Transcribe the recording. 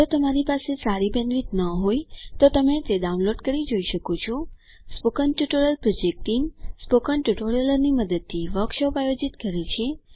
જો તમારી પાસે સારી બેન્ડવિડ્થ ન હોય તો તમે ડાઉનલોડ કરી તે જોઈ શકો છો spoken tutorial project team spoken ટ્યુટોરીયલોની મદદથી વર્કશોપ આયોજિત કરે છે